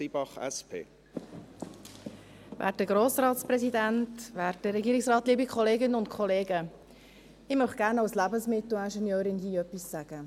Ich möchte hier gerne als Lebensmittelingenieurin etwas sagen.